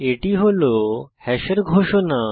এটি হল হ্যাশের ঘোষণা